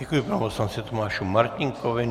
Děkuji panu poslanci Tomáši Martínkovi.